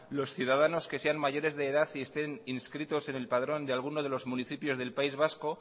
los ciudadanos que sean mayores de edad y estén inscritos en el padrón de alguno de los municipios del país vasco